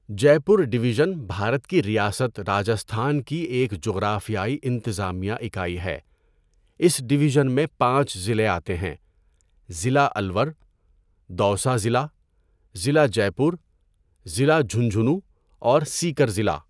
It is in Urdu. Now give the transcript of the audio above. جے پور ڈویزن بھارت کی ریاست راجستھان کی ایک جغرافیائی انتظامیہ اکائی ہے اس ڈویزن میں ۵ ضلعے آتے ہیں؛ ضلع الور، دوسہ ضلع، ضلع جے پور، ضلع جھنجھنو اور سیکر ضلع.